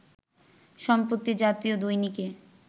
সম্প্রতি জাতীয় দৈনিকে